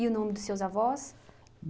o nome dos seus avós?